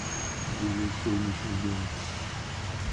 билет солнечный дом